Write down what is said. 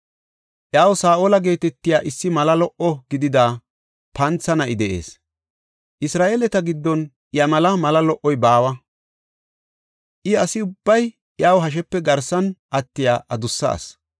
Iyaw Saa7ola geetetiya issi mala lo77o gidida pantha na7i de7ees. Isra7eeleta giddon iya mela mala lo77oy baawa; I asi ubbay iya hashepe garsan attiya adussa asi.